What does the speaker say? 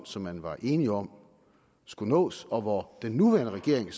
som man var enige om skulle nås og hvor den nuværende regering